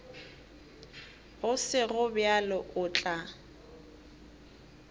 go sego bjalo o tla